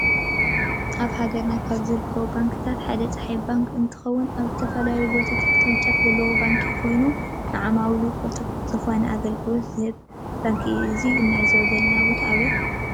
አብ ሃገርና ካብ ዝርከቡ ባንክታት ሓደ ፀሓይ ባንክ እንትኮን አብ ዝተፈላለዩ ቦታታት ቅርጫፍ ዘለዎ ባንኪ ኮይኑ ንዓማዊሉ ቁሉጡፍ ዝኮነ አገልግሎት ዝህብ ባንኪ እዩ። እዚ እንዕዞቦ ዘለና ቦታ ከ አበይ ይመስለኩም?